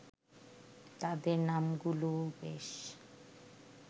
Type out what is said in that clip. তাদের নামগুলোও বেশ